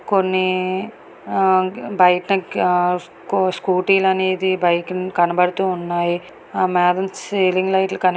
కొన్ని ఆ బయట స్కూటీ లు అనేది బైక్ కనబడుతూ ఉన్నాయి. ఆ మేదన సీలింగ్ లైట్ లు--